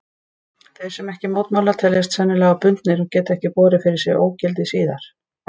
Þeir sem ekki mótmæla teljast sennilega bundnir og geta ekki borið fyrir sig ógildi síðar.